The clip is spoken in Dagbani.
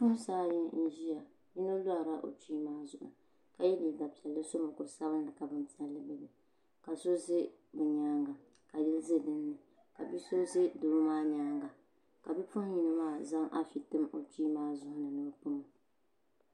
Bi puɣinsi ayi n zɛya yino loori la o kpee maa ka yiɛ liiga piɛlli so mukuri sabinli ka bini piɛlla gabi dini ka so za bi yɛanga ka yli za ni ka bi so zɛ doo maa yɛanga ka bi puɣin yino maa zaŋ afi n tim o kpee maa zuɣu ni o pun o.